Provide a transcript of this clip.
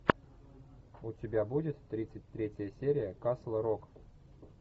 у тебя будет тридцать третья серия касл рок